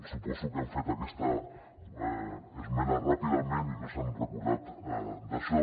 suposo que han fet aquesta esmena ràpidament i no s’han recordat d’això